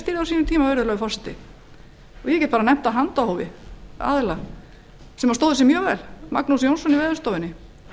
ég stýrði á sínum tíma ég nefni af handahófi menn sem stóðu sig mjög vel magnús jónsson á veðurstofunni